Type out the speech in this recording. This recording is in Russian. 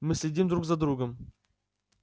мы следим друг за другом